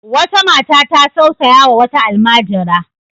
Wata mata ta tausayawa wata almajira.